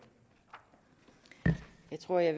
jeg tror at jeg